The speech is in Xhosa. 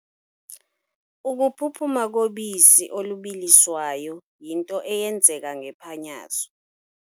Ukuphuphuma kobisi olubiliswayo yinto eyenzeka ngephanyazo.